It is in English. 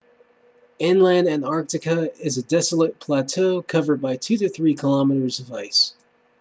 inland antarctica is a desolate plateau covered by 2-3 km of ice